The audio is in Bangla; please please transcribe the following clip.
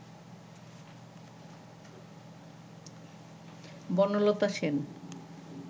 বনলতা সেন